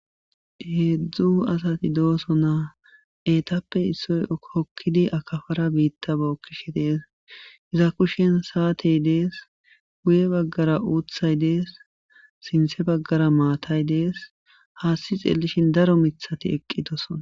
heedzdzu asati dooso naa eetappe issoy kokkidi akafara biitta bookkishi dees iza kushen saatey dees guye baggara uuthay dees sinthe baggara maatay dees haasti xeellishin daro mithati eqqitoson